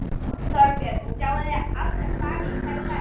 Þorbjörn: Sjáið þið alltaf hvali í hverri ferð?